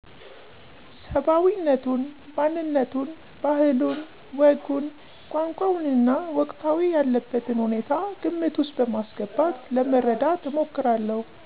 ሰባዊነቱን፣ ማንነቱን፣ ባህሉን፣ ወጉን፣ ቋንቋውንና ወቅታዊ ያለበትን ሁኔታ ግምት ውስጥ በማስገባት ለመረዳት እሞክራለሁ።